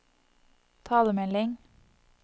talemelding